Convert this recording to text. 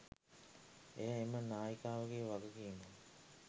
එය එම නායිකාවගේ වගකීමක්